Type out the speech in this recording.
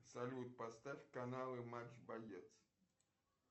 салют поставь каналы матч боец